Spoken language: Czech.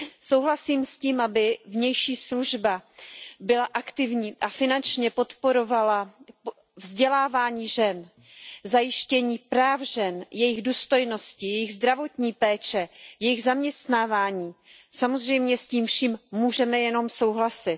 Souhlasím s tím, aby vnější služba byla aktivní a finančně podporovala vzdělávání žen, zajištění práv žen, jejich důstojnosti, jejich zdravotní péče, jejich zaměstnávání, samozřejmě s tím vším můžeme jen souhlasit.